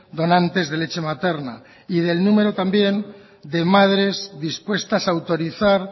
donantes de leche materna y del número también de madres dispuestas a autorizar